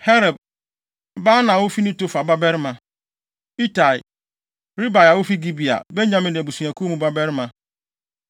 Heleb, Baana a ofi Netofa babarima; Itai, Ribai a ofi Gibea (Benyamin abusuakuw mu) babarima;